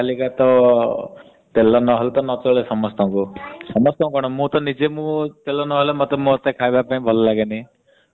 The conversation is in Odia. ନ ଆଜି କଲିକା ତ ତେଲ ନହେଲେ ନାଚଳେ ସମସ୍ତଙ୍କୁ। ସମସ୍ତଙ୍କୁ କଣ ମୁ ତ ନିଜେ ତେଲ ନହେଲେ ଖାଇବା ପାଇଁ ଭଲ ଲଗେନି କୌଣସି ଜିନିଷ ବି।